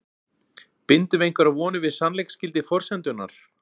Bindum við einhverjar vonir við sannleiksgildi forsendunnar?